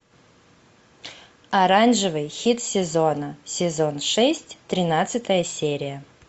оранжевый хит сезона сезон шесть тринадцатая серия